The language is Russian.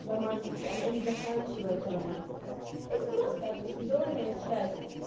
с романтики она и не заканчивается романтика это просто определённая часть